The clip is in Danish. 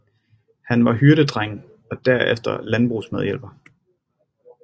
Han var hyrdedreng og derefter landbrugsmedhjælper